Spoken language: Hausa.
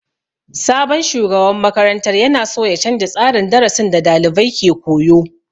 Sabon shugaban makarantar ya na so ya canja tsarin darasin da dalibai ke koyo.